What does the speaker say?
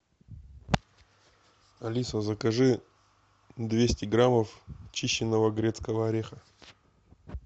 алиса закажи двести граммов чищенного грецкого ореха